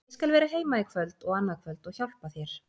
Ég skal vera heima í kvöld og annað kvöld og hjálpa þér.